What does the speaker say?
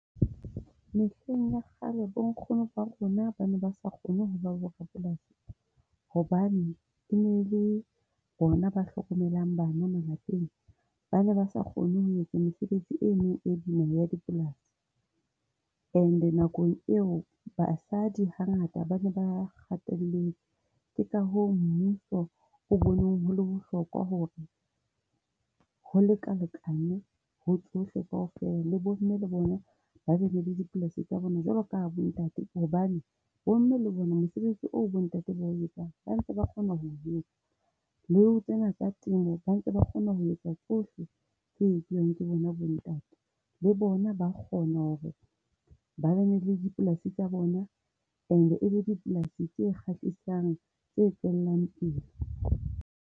Mehleng ya kgale bonkgono ba rona ba ne ba sa kgone ho ba borapolasi hobane e ne le bona ba hlokomelang bana malapeng, ba ne ba sa kgone ho etsa mesebetsi eno e bona ya dipolasi. And nakong eo basadi hangata ba ne ba hatelletswe. Ke ka ho mmuso o boneng ho hore ho lekalekanwe ho tsohle kaofela. Le bomme le bona ba be le dipolasi tsa bona jwalo ka ha bontate hobane bomme le bona mosebetsi oo bontate ba o etsang ba ntse ba kgona ho o etsa. Le ho tsena tsa temo, ba ntse ba kgona ho etsa tsohle tse etsuwang ke bona bontate. Le bona ba kgona hore ba be le dipolasi tsa bona and e be dipolasi tse kgahlisang tse tswellang pele.